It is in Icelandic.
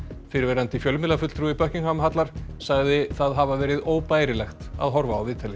fyrrverandi fjölmiðlafulltrúi Buckingham hallar sagði það hafa verið óbærilegt að horfa á viðtalið